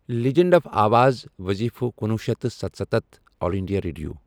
Legend of آواز وٕظیٖفہٕ کنُوُہ شتھ تہٕ ستَسَتتھ آل انٛڈیا ریڈیو۔